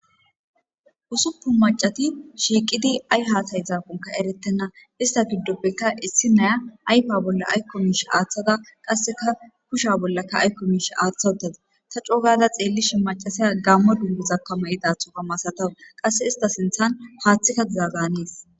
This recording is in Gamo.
Ussuppun maccati shiiqidi ayi haasa'izakkon erettenna ista giddoppe issinaya ayfe bolla aykko miishsha aaththada qassekka kusha bolla aykko miishshe aaththa uttadus. Ta coo gaada xeellishin maccasiya gsammo dunguza mayudaththoka masatawus. Qasse ista sinththan haaththika dizadan hanees.